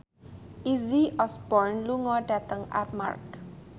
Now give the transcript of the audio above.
Izzy Osborne lunga dhateng Armargh